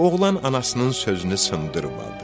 Oğlan anasının sözünü sındırmadı.